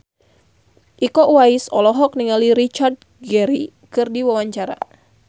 Iko Uwais olohok ningali Richard Gere keur diwawancara